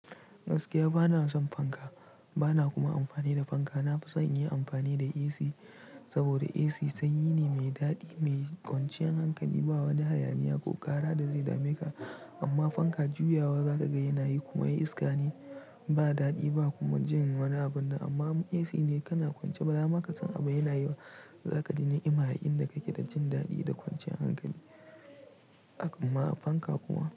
Gaskiya bana son fanka, bana kuma amfani da fanka. Na fi son in yi amfani da AC, saboda AC sanyi ne mai daɗi, mai kwanciyar hankali, ba wani hayaniya ko ƙara da zai dame ka. Amma fanka juyawa za ka ga yanayi kuma in iska ne, ba daɗi ba kuma jin wani abun. Amma AC ne kana kwance ba za ma ka san abin yanayi ba. Za ka ji ni'imarr inda kake da jin daɗi da kwanciyar hankali. Akama fanka kuma.